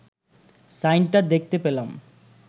সাইনটা দেখতে পেলাম